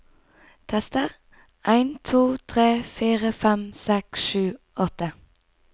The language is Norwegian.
Tester en to tre fire fem seks sju åtte